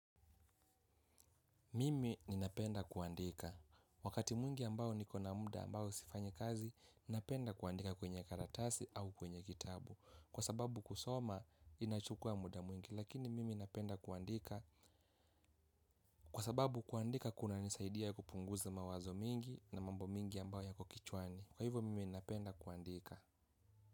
Mimi ninapenda kuandika. Wakati mwingi ambao nikona muda ambao sifanyi kazi, napenda kuandika kwenye karatasi au kwenye kitabu. Kwa sababu kusoma, inachukua muda mwingi. Lakini mimi napenda kuandika kwa sababu kuandika kunanisaidia kupunguza mawazo mingi na mambo mingi ambao yako kichwani. Kwa hivyo, mimi ninapenda kuandika.